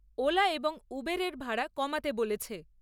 OLA এবং Uber ভাড়া কমাতে বলেছে ।